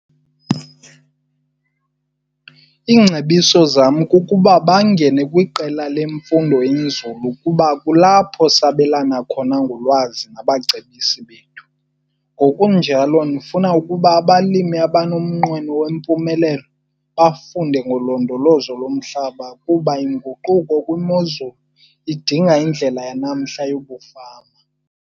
Iingcebiso zam kukuba bangene kwiqela lofundo-nzulu kuba kulapho sabelana khona ngolwazi nabacebisi bethu. Ngokunjalo, ndifuna ukuba abalimi abanomnqweno wempumelelo bafunde ngolondolozo lomhlaba kuba inguquko kwimozulu idinga indlela yanamhla yokufama.